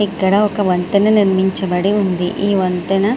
ఇక్కడ ఒక వంతెన నిర్మించబడి ఉంది. ఈ వంతన --